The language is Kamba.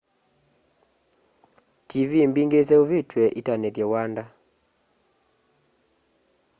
tiivii mbingî iseûvîtw'e itanîthye wanda